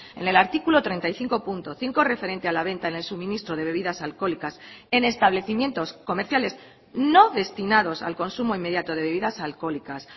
en el artículo treinta y cinco punto cinco referente a la venta en el suministro de bebidas alcohólicas en establecimientos comerciales no destinados al consumo inmediato de bebidas alcohólicas